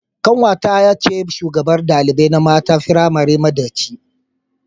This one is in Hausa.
Kanwata ce shugabar dalibai na mata firamari madaci.